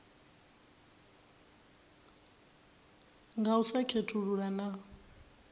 nga u sa khethulula na